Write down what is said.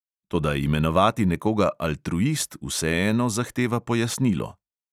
Toda imenovati nekoga altruist vseeno zahteva pojasnilo.